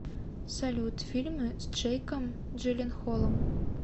салют фильмы с джейком джиленхолом